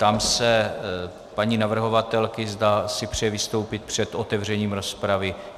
Ptám se paní navrhovatelky, zda si přeje vystoupit před otevřením rozpravy.